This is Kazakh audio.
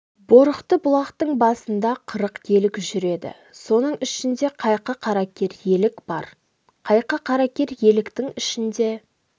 борықты бұлақтың басында қырық елік жүреді соның ішінде қайқы қаракер елік бар қайқы каракер еліктің ішінде